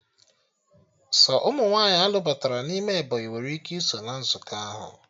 Sọ ụmụ nwaanyị a lụbatara n'ime Ebọnyị nwere ike iso na nzukọ ahụ